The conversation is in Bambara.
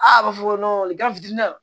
Aa a b'a fɔ ko